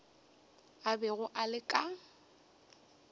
a bego a le ka